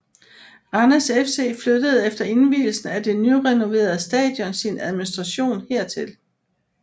Randers FC flyttede efter invielsen af det nyrenoverede stadion sin administration hertil